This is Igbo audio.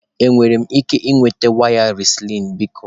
Enwere m ike ịnweta waya Recline biko?